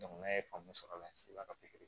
n'a ye faamu sɔrɔ la so la